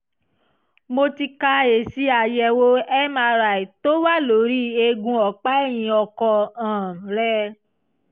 mo ti ka èsì àyẹ̀wò mri tó wà lórí eegun ọ̀pá ẹ̀yìn ọkọ um rẹ